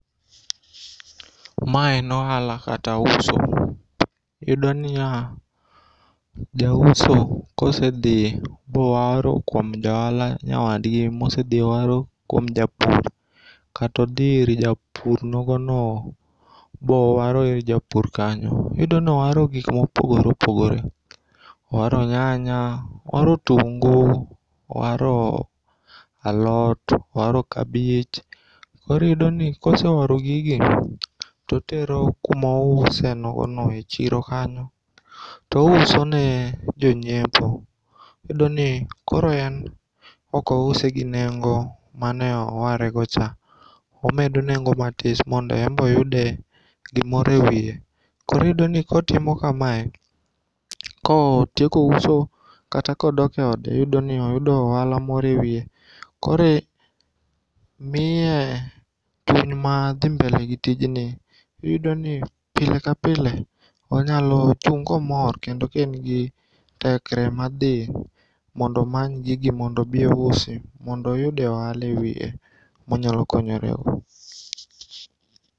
Ma en ohala kata uso. Iyudoniya, jauso kosedhi mowaro kuom jaohala nyawadgi mosedhi owaro kuom japur kata odhi ir japur nogono bowaro ir japur kanyo. Iyudonowaro gik mopogore opogore, owaro nyanya, owaro otungu, owaro alot, owaro kabich. Koro iyudoni kose waro gigi totero kumousenogono e chiro kanyo to ousone jonyiepo. Iyudoni koro en okousegi nengo maneowaregocha. Omedo nengo matis mondo enbe oyude gimoro e wiye. Koro iyudoni kotimo kamae, kotieko uso kata kodoke ode iyudoni oyudo ohala moro e wiye koro miye chuny mar dhi mbele gi tijni. Iyudoni pile ka pile onyalochung' komor kendo ka en gi tekre ma dhi mondo omany gigi mondo obi ousi mondo oyude ohala ewiye monyalo konyorego.